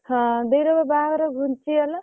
ହଁ ଦେଇ ର ବା ବାହାଘର ଘୁନ୍ଚି ଗଲା।